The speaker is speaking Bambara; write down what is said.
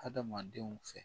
Adamadenw fɛ